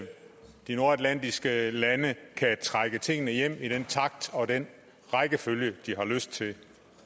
de nordatlantiske lande kan trække tingene hjem i den takt og den rækkefølge de har lyst til